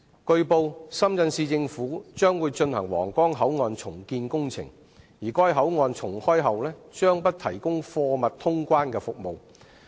據報，深圳市政府將會進行皇崗口岸重建工程，而該口岸重開後將不提供貨物通關服務。